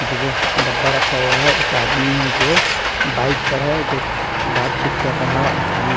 डब्बा रखा हुआ है एक आदमी है जो बाइक पर है जो बातचीत कर रहा है एक आदमी--